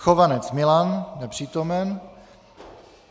Chovanec Milan: Nepřítomen.